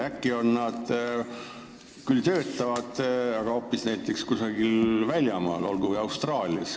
Äkki nad siiski töötavad, aga hoopis kusagil välismaal, näiteks Austraalias.